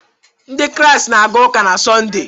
Ndị Kraịst na-aga ụka na Sọnde